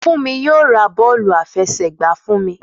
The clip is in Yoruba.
Fúnmi yóò ra bọ́ọ̀lù àfẹsẹ̀gba fún mi.